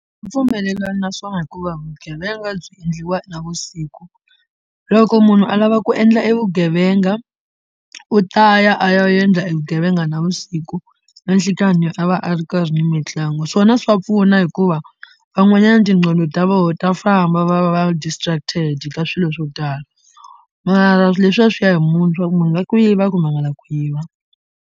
Pfunelelani na swona hikuva vugevenga byi endliwa navusiku loko munhu a lava ku endla e vugevenga u ta ya a ya endla e vugevenga na vusiku na nhlikani a va a ri karhi ni mitlangu swona swa pfuna hikuva van'wanyana tinqondo ta voho ta famba va va va distracted ka swilo swo tala mara leswiya swi ya hi munhu swa ku munhu na ku yiva kumbe a nga lavi ku yiva.